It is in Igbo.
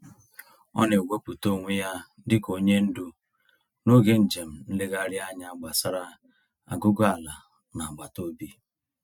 Ọ na-ewepụta onwe ya dị ka onye ndu n'oge njem nlegharịanya gbasara aguguala n'agbataobi.